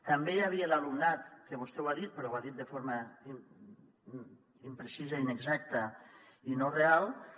també hi havia l’alumnat que vostè ho ha dit però ho ha dit de forma imprecisa inexacta i no real